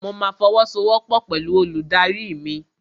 Mo ma fọwọ́sowọ́pọ̀ pẹ̀lú olùdarí mi.